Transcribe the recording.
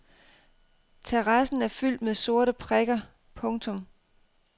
Terrassen er fyldt med sorte prikker. punktum